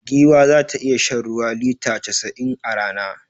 Giwa za ta iya shan ruwa lita casa'in a rana.